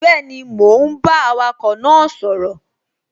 Bẹ́ẹ̀ni, mò ún bá awakọ̀ náà sọ̀rọ̀